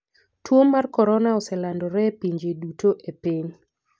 Tuo mar Korona oselandore e pinje duto e piny.